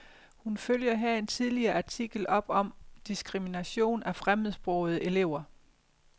Hun følger her en tidligere artikel op om diskrimination af fremmedsprogede elever.